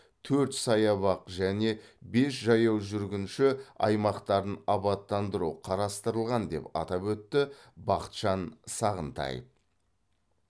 төрт саябақ және бес жаяу жүргінші аймақтарын абаттандыру қарастырылған деп атап өтті бақытжан сағынтаев